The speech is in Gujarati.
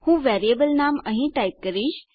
હું વેરીએબલ નામ અહીં ટાઈપ કરીશ